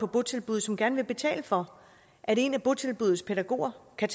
botilbud som gerne vil betale for at en af botilbuddets pædagoger kan